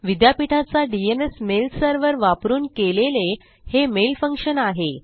विद्यापीठाचा DNS mail server वापरून केलेले हे मेल फंक्शन आहे